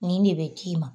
Nin de bɛ d'i ma